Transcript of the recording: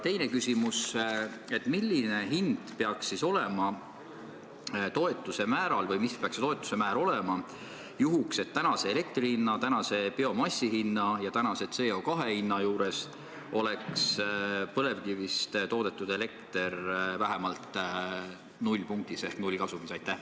Teine küsimus: milline hind peaks siis olema toetuse määral või mis peaks see toetuse määr olema, et tänase elektri hinna, tänase biomassi hinna ja tänase CO2 hinna juures oleks põlevkivist toodetud elekter vähemalt nullpunktis ehk nullkasumis?